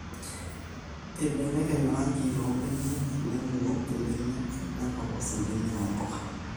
eibelekeny orangi loombenek nenunuk imbenek nepolos imbenek oomboga